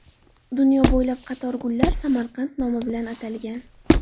Dunyo bo‘ylab qator gullar Samarqand nomi bilan atalgan.